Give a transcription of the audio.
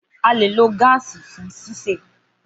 Gaasi tun lo fun sise.